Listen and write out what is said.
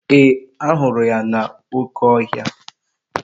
Ee, ahụrụ ya n'oke ohia